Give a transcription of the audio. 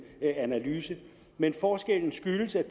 analyse men forskellen skyldes at